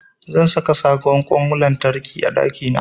Zan saka sabon ƙwan lantarki a ɗakina.